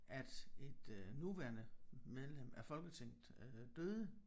At et øh nuværende medlem af Folketinget øh døde